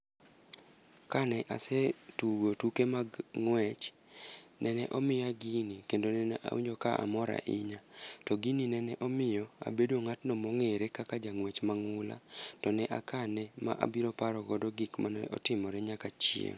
Kane asetugo tuke mag ng'wech, nene omiya gini kendo nene awinjo ka amor aohinya. To gini nene omiyo abedo ng'atno mong'were kaka jang'wech mang'ula. To ne akane ma abiro parogo gik mane otimore nyaka chieng'.